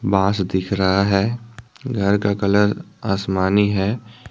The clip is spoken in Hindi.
बास दिख रहा है घर का कलर आसमानी है।